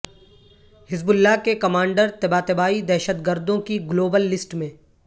حزب اللہ کے commander Tabatabai دہشت گردوں کی گلوبل لسٹ میں